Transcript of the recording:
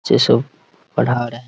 बच्चे सब पढा रहे है ।